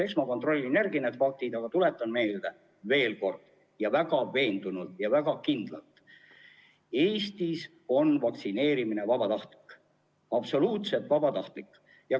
Eks ma kontrollin need üle, aga tuletan veel kord meelde ja teen seda väga veendunult ja kindlalt, et Eestis on vaktsineerimine vabatahtlik, absoluutselt vabatahtlik.